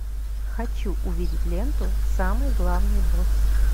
хочу увидеть ленту самый главный босс